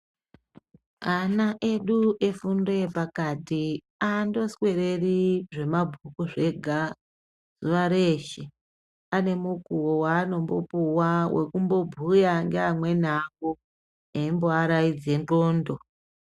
Ana edu efundo yepakati aandoswereri zvemabhuku zvega zuva reshe, ane mukuvo vaanombopuwa wekumbobhuya ngeamweni avo eyimbovaraidze n'ondo.